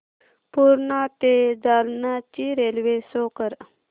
पूर्णा ते जालना ची railway show कर